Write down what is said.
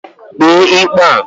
Kpee ikpe a.